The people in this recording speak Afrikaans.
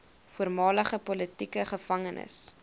voormalige politieke gevangenes